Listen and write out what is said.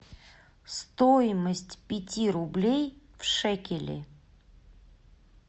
стоимость пяти рублей в шекели